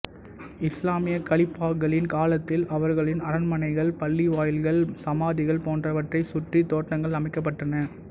இசுலாமிய கலீபாக்களின் காலத்தில் அவர்களின் அரண்மனைகள் பள்ளிவாயில்கள் சமாதிகள் போன்றவற்றை சுற்றி தோட்டங்கள் அமைக்கப்பட்டன